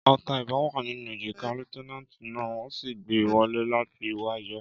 Ọta ìbọn wa nínú èjìká líéutènànti náà, wón sì gbé wọlé láti wáá yọ